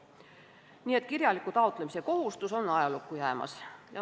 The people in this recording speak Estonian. Nii et kirjaliku taotlemise kohustus on ajalukku jäämas.